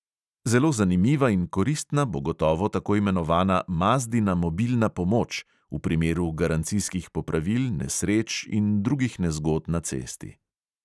Zelo zanimiva in koristna bo gotovo tako imenovana mazdina mobilna pomoč v primeru garancijskih popravil, nesreč in drugih nezgod na cesti.